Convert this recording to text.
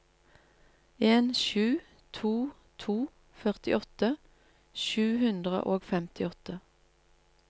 en sju to to førtiåtte sju hundre og femtiåtte